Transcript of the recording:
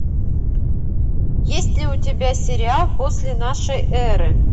есть ли у тебя сериал после нашей эры